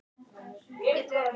Þín dóttir, Hafdís.